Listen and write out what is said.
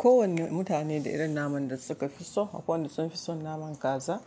Kowane mutane da irin naman da suka fi so. Akwai wanda sun fi son naman kaza,